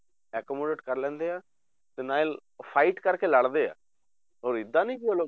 Accommodate ਕਰ ਲੈਂਦੇ ਆ ਤੇ ਨਾਲ fight ਕਰਕੇ ਲੜਦੇ ਆ, ਹੋਰ ਏਦਾਂ ਨੀ ਕਿ ਉਹ ਲੋਕ